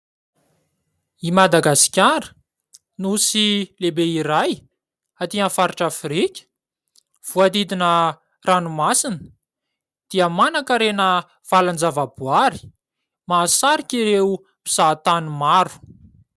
I Madagasikara, nosy lehibe iray atỳ amin'ny faritra Afrika, voadidina ranomasina dia manan-karena valan-javaboary mahasarika ireo mpizahatany maro.